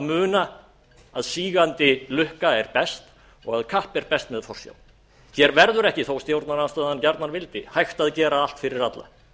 muna að sígandi lukka er best og að kapp er best með forsjá hér verður ekki þó að stjórnarandstaðan gjarnan vildi hægt að gera allt fyrir alla